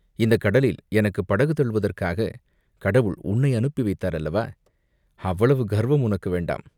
இந்தக் கடலில் எனக்குப் படகு தள்ளுவதற்காகக் கடவுள் உன்னை அனுப்பி வைத்தார் அல்லவா?" "அவ்வளவு கர்வம் உனக்கு வேண்டாம்.